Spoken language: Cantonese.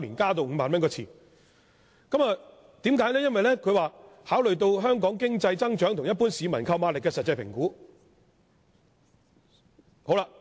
政府表示，考慮到香港經濟增長及一般市民的購買力後作出調整。